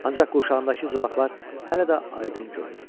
Ancaq quşağındakı zolaqlar hələ də aydın görünürdü.